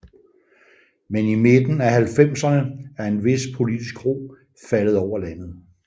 Men i midten af halvfemserne er en vis politisk ro faldet over landet